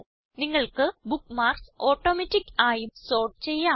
നിങ്ങൾക്ക് bookmarks automatic ആയും sort ചെയ്യാം